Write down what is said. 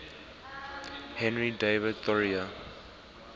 henry david thoreau